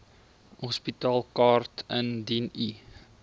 hospitaalkaart indien u